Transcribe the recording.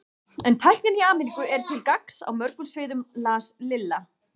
En tæknin í Ameríku er til gagns á mörgum sviðum las Lilla.